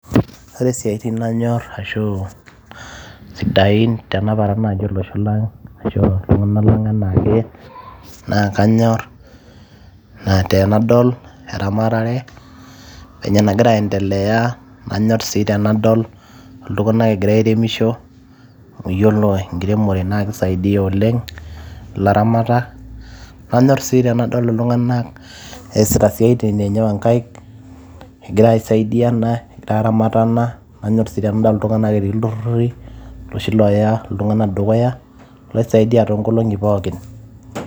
ore isiaitin nanyorr ashu sidain tenaparan naaji olosho lang' ashu iltung'anak lang' enaake naa kanyorr naa tenadol eramatare venye enagira aendelea anyorr sii tenadol iltung'anak egira airemisho amu yiolo enkiremore naa kisaidia oleng' ilaramatak anyorr sii tenadol iltung'anak eesita isiaitin enye onkaik egira aisaidiana egira aramatana nanyorr sii tenadol iltung'anak etii ilturruri iloshi looya iltung'anak dukuya loisaidia toonkolong'i pookin.